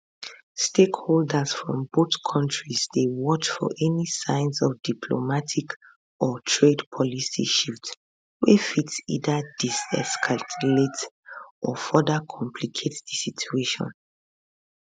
stakeholders from both kontris dey watch for any signs of diplomatic or trade policy shifts wey fit either deescalate or further complicate di situation